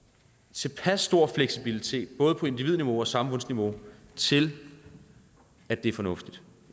tilpas stor fleksibilitet på både individniveau og samfundsniveau til at det er fornuftigt